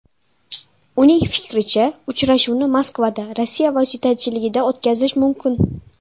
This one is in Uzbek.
Uning fikricha, uchrashuvni Moskvada Rossiya vositachiligida o‘tkazish mumkin.